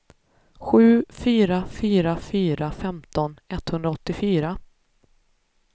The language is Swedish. sju fyra fyra fyra femton etthundraåttiofyra